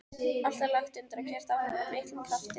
Allt er lagt undir og keyrt áfram af miklum krafti.